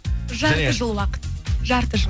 жарты жыл уақыт жарты жыл